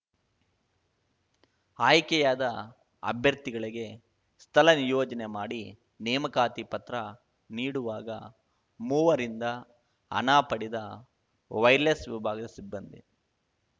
ಆಯ್ಕೆಯಾದ ಅಭ್ಯರ್ಥಿಗಳಿಗೆ ಸ್ಥಳ ನಿಯೋಜನೆ ಮಾಡಿ ನೇಮಕಾತಿ ಪತ್ರ ನೀಡುವಾಗ ಮೂವರಿಂದ ಹಣ ಪಡೆದ ವೈರ್‌ಲೆಸ್‌ ವಿಭಾಗದ ಸಿಬ್ಬಂದಿ